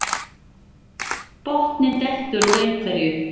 Botninn dettur úr einhverju